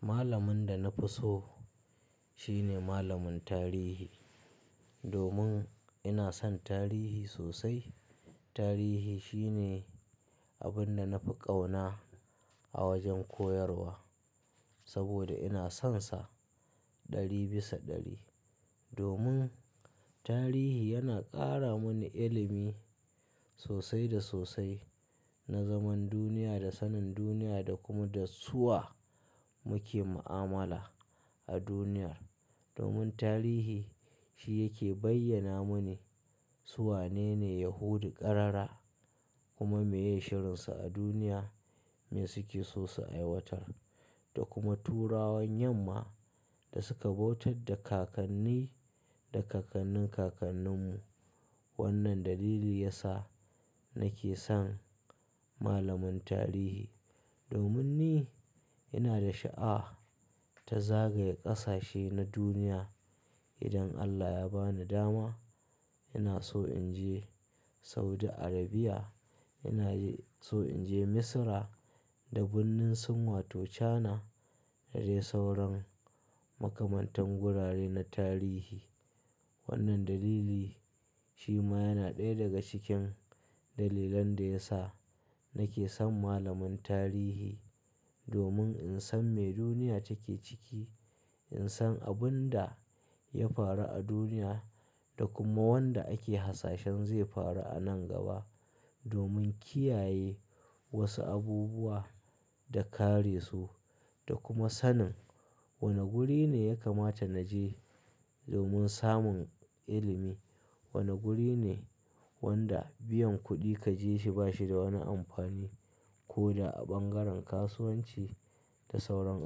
Malamin da na fi so shine malamin tarihi. Domin ina son tarihi sosai. Tarihi shine abin da na fi ƙauna a wajen koyarwa, saboda ina sonsa ɗari bisa ɗari. Domin tarihi yana ƙara mini ilimi sosai da sosai na zaman duniya da sanin duniya da kuma da su wa muke mu'amala a duniyar. Domin tarihi shi yake bayyana mini su wane ne Yahudu ƙarara kuma me ye shirinsu a duniya, me suke so su aiwatar. Da kuma Turawan yamma da suka bautar da kakanni da kakannin kakanninmu. Wannan dalili ya sa nake son malamin tarihi. Domin ni ina da sha'a ta zagaye ƙasashe na duniya. Idan Allah ya bani dama, ina so in je Saudi Arabia, ina so in je Misira da birnin sin wato China na je sauran makamantan gurare na tarihi. Wannan dalili shi ma yana ɗaya daga cikin dalilan da ya sa nake son malamin tarihi. Domin in san me duniya take ciki, in san abin da ya faru a duniya da kuma wanda ake hasashen zai faru a nan gaba. Domin kiyaye wasu abubuwa da kare su da kuma sanin wane guri ne ya kamata na je domin samun ilimi, wane guri ne wanda biyan kuɗi ka je shi ba shi da wani amfani ko da a ɓangaren kasuwanci da sauran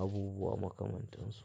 abubuwa makamantansu.